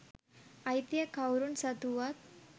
අයිතිය කවුරුන් සතු වුවත්